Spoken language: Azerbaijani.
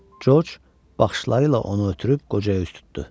George baxışları ilə onu ötürüb qocaya üz tutdu.